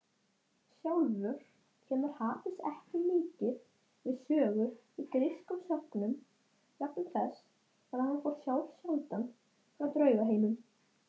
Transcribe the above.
Við göngum þetta sagði Georg.